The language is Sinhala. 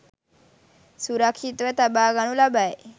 සුරක්ෂිතව තබාගනු ලබයි.